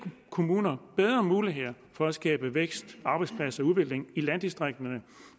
kommuner bedre muligheder for at skabe vækst arbejdspladser og udvikling i landdistrikterne